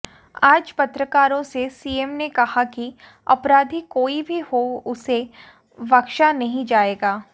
आज पत्रकारों से सीएम ने कहा कि अपराधी कोई भी हो उसे बख्शा नहीं जाएगा